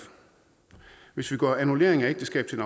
hvis vi gør annullering af ægteskab til